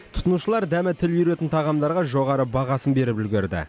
тұтынушылар дәмі тіл үйіретін тағамдарға жоғары бағасын беріп үлгерді